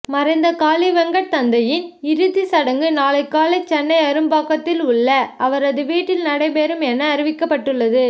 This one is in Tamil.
மறைந்த காளிவெங்கட் தந்தையின் இறுதி சடங்கு நாளை காலை சென்னை அரும்பாக்கத்தில் உள்ள அவரது வீட்டில் நடைபெறும் என அறிவிக்கப்பட்டுள்ளது